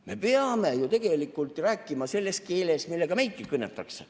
Me peame ju tegelikult rääkima selles keeles, millega meidki kõnetatakse.